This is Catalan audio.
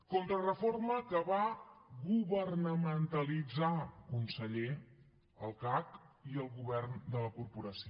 contrareforma que va governamentalitzar conseller el cac i el govern de la corporació